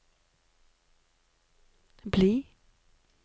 bli